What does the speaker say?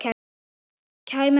Kæmi það til greina?